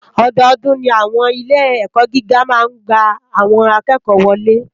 Òdòdún ni áwòn ilé èkò gigá má n gbá áwòn àkèkò wòlé